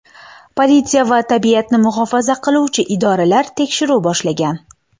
Politsiya va tabiatni muhofaza qiluvchi idoralar tekshiruv boshlagan.